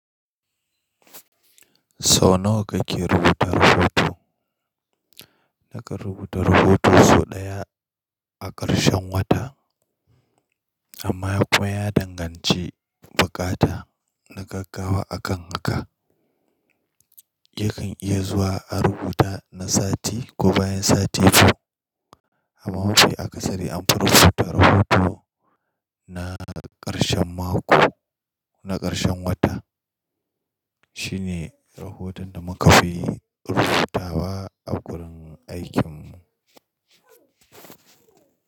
Sau nawa kake rubuta rahoton? Naka rubuta rahoton sau ɗaya a ƙarshen wata, amma fa ya danganci buƙata na gaggawa a kan haka. Yakan iya zuwa a rubuta na sati ko bayan sati biyu. Amma mafi akasari anfi rubuta rahoto na ƙarshen mako, na ƙarshen wata. Shi ne rahoton da muka fi rubutawa a gurin aikinmu.